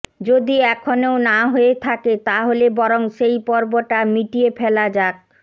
যদি এখনও না হয়ে থাকে তা হলে বরং সেই পর্বটা মিটিয়ে ফেলা যাক